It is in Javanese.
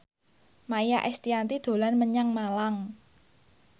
Maia Estianty dolan menyang Malang